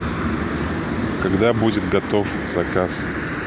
когда будет готов заказ